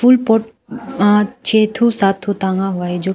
pot अ छे ठो सात ठो टांगा हुआ है जो--